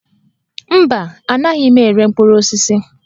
Mba, anaghị m ere mkpụrụ osisi